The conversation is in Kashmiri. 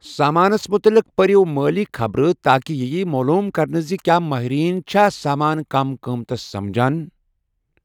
سامانَس مُطلِق پٔرِو مٲلی خبرٕ تاکہِ یہِ ییہِ معلوم کرنہٕ زِ کیا مٲہریٖن چھا سامان کم قۭمتی سمجھان۔